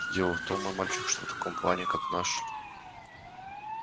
дело в том мой мальчик что в таком плане как наш